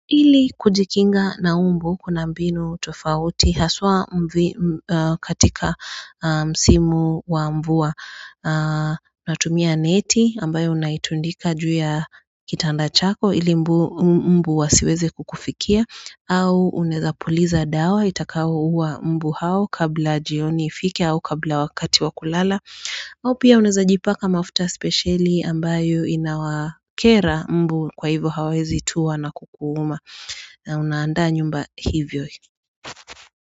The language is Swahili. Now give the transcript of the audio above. Ili kujikinga na mbu kuna mbinu tofauti haswa katika msimu wa mvua natumia neti ambayo unaitundika juu ya kitanda chako ili mbu wasiweze kukufikia au unaeza puliza dawa itakayouwa mbu hao kabla jioni ifike au kabla wakati wakulala au pia unaeza jipaka mafuta spesheli ambayo inawakera mbu kwa hivyo hawezi tua na kukuuma na unaandaa nyumba hivyo.